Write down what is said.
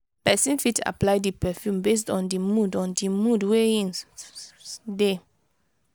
person fit apply di perfume based on di mood on di mood wey in de